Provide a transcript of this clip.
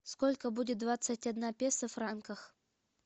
сколько будет двадцать одна песо в франках